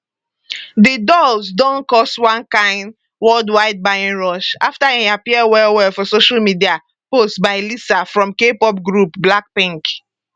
di dolls don cause one kain worldwide buying rush after e appear wellwell for social media posts by lisa from kpop group blackpink